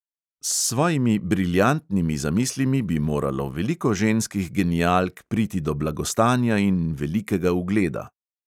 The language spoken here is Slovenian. S svojimi briljantnimi zamislimi bi moralo veliko ženskih genialk priti do blagostanja in velikega ugleda.